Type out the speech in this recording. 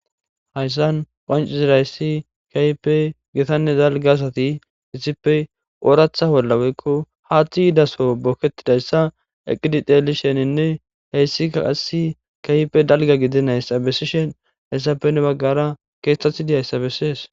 Hayssan qonchissida issi keehippe githanne dalgga asati issippe oraththa olla woyko haaththi yiido soho bokettidaayssa eqqidi tseellishininne he issika qassi keehippe dalga gidinayssa bessishen he issappe hinni baggara keeththathidi de'iya issa be'essees.